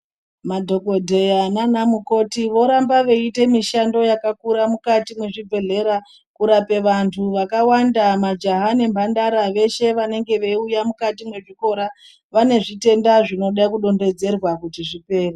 Madhokodheya nanamukoti voramba veiita mishando yakakura mukati mwezvibhedhlera kurape vantu vakawanda majaha nemhandara veshe vanenge veiuya mukati mwezvikora vane zvitenda zvinode kudonhedzerwa kuti zvipere.